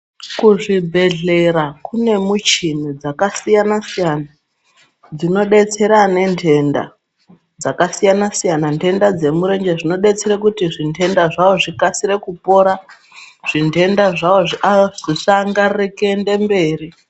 Kuzvibhedhlera kunemichini dzakasiyana siyana dzinodetsera ane ndenta dzakasiyana ndenta dzemurenje zvinodetsere kuti zvindenta zvavo zvikasire kupora zvindenta zvavo zvisangarare kuende mberi.